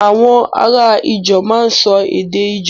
Àwọn ará Ijaw máa ń sọ èdè Ijaw